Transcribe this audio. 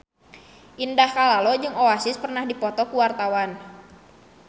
Indah Kalalo jeung Oasis keur dipoto ku wartawan